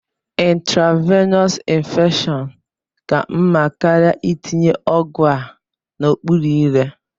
Intravenọs infushọn ka mma karịa itinye ọgwụ a n'okpuru ire.